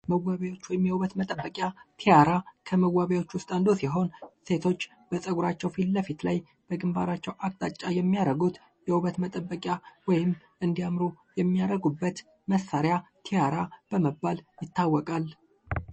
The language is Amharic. መዋቢያ ወይም የውበት መጠበቂያ ቲያራ ከመዋቢያዎች ውስጥ አንዱ ሲሆን ሴቶች ፀጉራቸው ፊለፊት ላይ በግንባራቸው አቅጣጫ የሚያደርጉት የውበት መጠበቂያ ወይም እንዲያምሩ የሚያረጉበት መሳሪያ ቲያራ በመባል ይታወቃል።